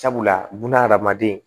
Sabula bunahadamaden